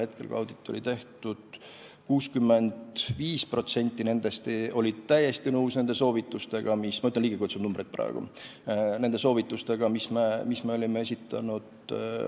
5% nendest oli täiesti nõus – ma nimetan praegu ligikaudseid numbreid – nende soovitustega, mis me olime esitanud.